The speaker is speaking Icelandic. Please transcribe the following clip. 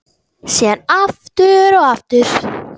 Síðan aftur og aftur.